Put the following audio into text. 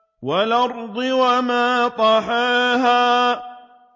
وَالْأَرْضِ وَمَا طَحَاهَا